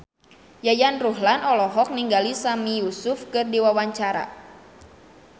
Yayan Ruhlan olohok ningali Sami Yusuf keur diwawancara